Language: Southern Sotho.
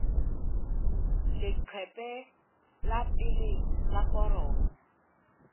leqephe la pele la foromo